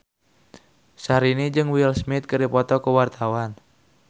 Syahrini jeung Will Smith keur dipoto ku wartawan